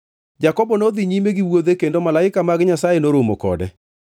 Jakobo nodhi nyime gi wuodhe, kendo malaike mag Nyasaye noromo kode.